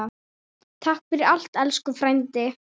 Takk fyrir allt, elsku frændi.